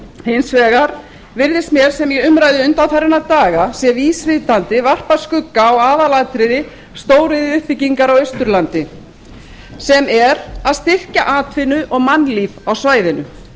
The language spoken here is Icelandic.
hins vegar virðist mér sem í umræðu undanfarinna daga sé vísvitandi varpað skugga á aðalatriði stóriðjuuppbyggingar á austurlandi sem er að styrkja atvinnu og mannlíf á svæðinu